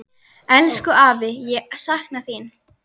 Elsku afi, ég sakna þín.